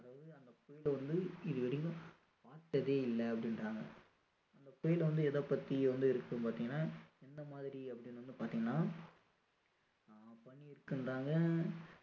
so வந்து இது வரைக்கும் பார்த்ததே இல்லை அப்படின்றாங்க அந்த புயல் வந்து எதை பத்தி வந்து இருக்கும்னு பார்த்திங்கன்னா என்ன மாதிரி அப்படின்னு வந்து பார்த்திங்கன்னா ஆஹ் பனி இருக்குன்றாங்க